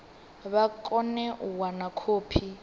vha kone u wana khophi